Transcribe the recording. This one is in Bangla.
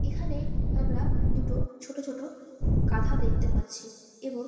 এখানে আমরা দুটো ছোট ছোট গাধা দেখতে পাচ্ছি এবং।